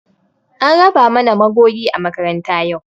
An raba mana magogi a makaranta yau